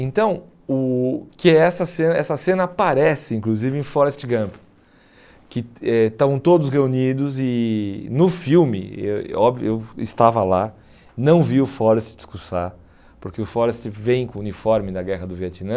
Então, o que é essa cena essa cena aparece inclusive em Forrest Gump, que eh estão todos reunidos e no filme, eu eh óbvio eu estava lá, não vi o Forrest discursar, porque o Forrest vem com o uniforme da Guerra do Vietnã,